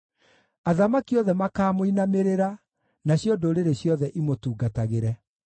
Athamaki othe makaamũinamĩrĩra, nacio ndũrĩrĩ ciothe imũtungatagĩre.